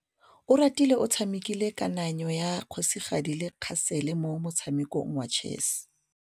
Oratile o tshamekile kananyô ya kgosigadi le khasêlê mo motshamekong wa chess.